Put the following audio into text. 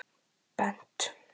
Mér finnst það uppgjöf